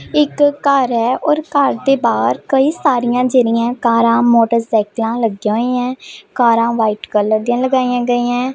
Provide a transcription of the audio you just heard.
एक कार है और कार ते बाहर कई सारियां जेरीये कारा मोटरसाइकिला लग्या ही है कारा व्हाइट कलर दी लइया गयीं हैं।